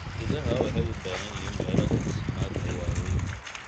Idaha waxay u baahan yihiin meelo daaqsimeed oo waaweyn.